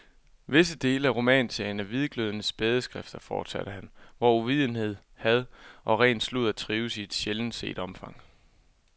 Visse dele af romanserien er hvidglødende smædeskrifter, fortsatte han, hvor uvidenhed, had og ren sludder trives i et sjældent set omfang.